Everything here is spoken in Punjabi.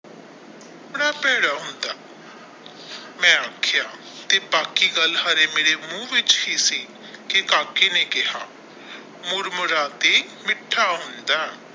ਬੜਾ ਭੈੜਾ ਹੁੰਦਾ ਤੇ ਮੈ ਆਖਿਆ ਤੇ ਬਾਕੀ ਗੱਲ ਹਾਰੇ ਮੇਰੇ ਮੂੰਹ ਵਿੱਚ ਹੀ ਸੀ ਕਿ ਕਾਕੀ ਨੇ ਕਹਿਆ ਮੁੜ ਮਰਾਤੀ ਮਿਠਾ ਹੁੰਦਾ ਆ।